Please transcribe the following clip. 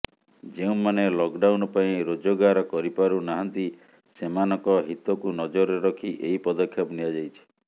ଯେଉଁମାନେ ଲକଡାଉନ ପାଇଁ ରୋଜଗାର କରିପାରୁ ନାହାଁନ୍ତି ସେମାନଙ୍କ ହିତକୁ ନଜରରେ ରଖି ଏହି ପଦକ୍ଷେପ ନିଆଯାଇଛି